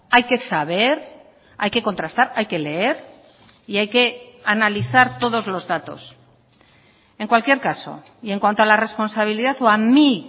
hay que saber hay que contrastar hay que leer y hay que analizar todos los datos en cualquier caso y en cuanto a la responsabilidad o a mí